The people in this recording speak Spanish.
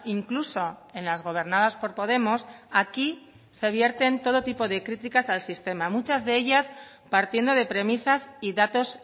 incluso en las gobernadas por podemos aquí se vierten todo tipo de críticas al sistema muchas de ellas partiendo de premisas y datos